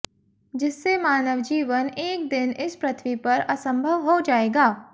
जिससे मानव जीवन एक दिन इस पृथ्वी पर असंभव हो जाएगा